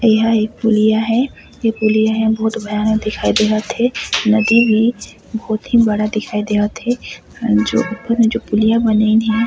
ए ह एक पुलिया हे ए पुलिया हे बहुत भयानक दिखाई देत हे नदी भी बहुत ही बड़ा दिखाई देवत हे जो ऊपर में जो पुलिया बनाईन हे।